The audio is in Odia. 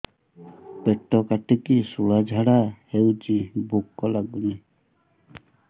ପେଟ କାଟିକି ଶୂଳା ଝାଡ଼ା ହଉଚି ଭୁକ ଲାଗୁନି